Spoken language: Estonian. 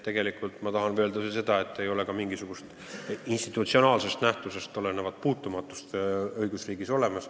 Tegelikult ma tahan öelda seda, et õigusriigis ei ole olemas mingisugusest institutsionaalsest asjaolust tulenevat puutumatust.